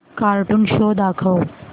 cartoon show दाखव